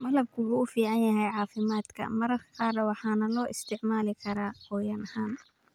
Malabku wuxuu u fiican yahay caafimaadka maqaarka waxaana loo isticmaali karaa qoyaan ahaan.